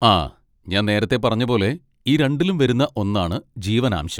ആ, ഞാൻ നേരത്തെ പറഞ്ഞ പോലെ, ഈ രണ്ടിലും വരുന്ന ഒന്നാണ് ജീവനാംശം.